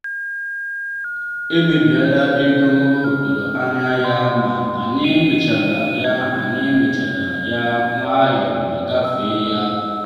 emebiela ego m tụrụ anya ya ma anyị mechara ya anyị mechara ya nwayọ ma gafee ya.